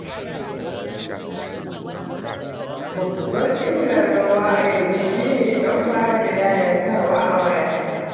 Babbar illar rawa a yau, shi ne ɗauka da yayatawa a waya.